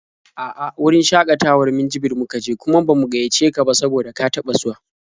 A'a, wurin shakatawar Minjibir muka je, kuma ba mu gaiyace ka ba saboda ka taɓa zuwa.